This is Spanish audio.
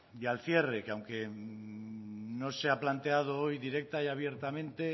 y al cierre que aunque no se ha planteado hoy directa y abiertamente